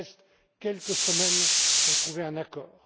services. Il nous reste quelques semaines pour trouver